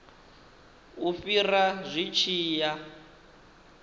u fhira zwi tshi ya